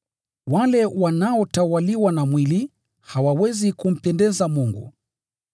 Wale wanaotawaliwa na mwili, hawawezi kumpendeza Mungu.